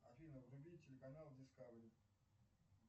афина вруби телеканал дискавери